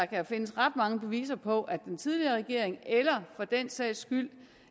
kan findes ret mange beviser på at den tidligere regering eller for den sags skyld